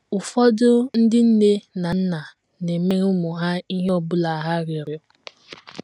Ụfọdụ ndị nne na nna na - emere ụmụ ha ihe ọ bụla ha rịọrọ.